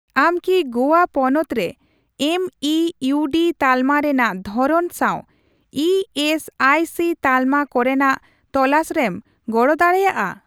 ᱟᱢ ᱠᱤ ᱜᱳᱣᱟ ᱯᱚᱱᱚᱛ ᱨᱮ ᱮᱢᱤᱤᱭᱩᱰᱤ ᱛᱟᱞᱢᱟ ᱨᱮᱱᱟᱜ ᱫᱷᱚᱨᱚᱱ ᱥᱟᱣ ᱤ ᱮᱥ ᱟᱭ ᱥᱤ ᱛᱟᱞᱢᱟ ᱠᱚᱨᱮᱱᱟᱜ ᱛᱚᱞᱟᱥᱨᱮᱢ ᱜᱚᱲᱚ ᱫᱟᱲᱮᱭᱟᱜᱼᱟ ?